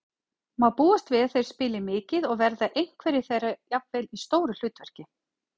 Má búast við að þeir spili mikið og verða einhverjir þeirra jafnvel í stóru hlutverki?